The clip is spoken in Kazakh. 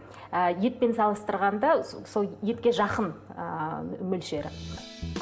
ы етпен салыстырғанда етке жақын ыыы мөлшері